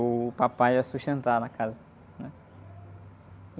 O papai ia sustentar na casa.